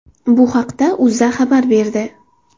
Bu haqida O‘zA xabar berdi .